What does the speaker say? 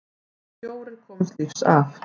Fjórir komust lífs af.